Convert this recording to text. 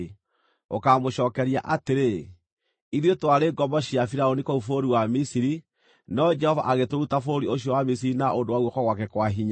Ũkaamũcookeria atĩrĩ: “Ithuĩ twarĩ ngombo cia Firaũni kũu bũrũri wa Misiri, no Jehova agĩtũruta bũrũri ũcio wa Misiri na ũndũ wa guoko gwake kwa hinya.